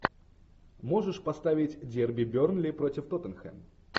можешь поставить дерби бернли против тоттенхэм